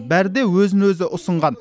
бәрі де өзін өзі ұсынған